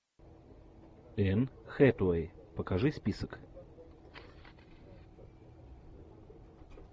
энн хэтэуэй покажи список